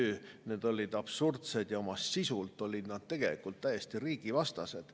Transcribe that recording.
Need olid absurdsed ja oma sisult olid nad tegelikult täiesti riigivastased.